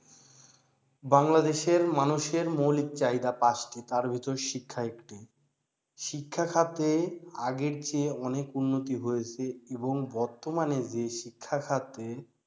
বাংলাদেশের মানুষের মৌলিক চাহিদা পাচটি তার ভিতর শিক্ষা একটি শিক্ষা খাতে আগের চেয়ে অনেক উন্নতি হয়েছে এবং বর্তমানে যে শিক্ষাখাতে